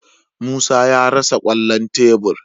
Musa ya rasa kwallon tebur.